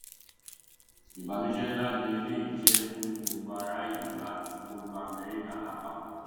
ìbànújẹ nlá ni eléyìí jẹ fún gbogbo ará ìlú àti gbogbo amẹrika lápapọ